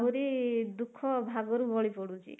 ଆହୁରି ଦୁଃଖ ଭାଗରୁ ବଳି ପଡୁଛି